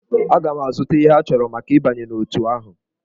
Aga m azụta ihe achọrọ maka ịbanye n'otù ahụ.